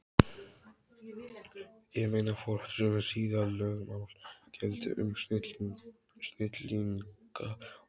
Ég meina, hvort sömu siðalögmál gildi um snillinga og